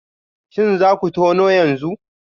Shin za ku tona yanzu?